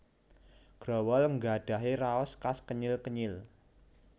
Growol nggadhahi raos khas kenyil kenyil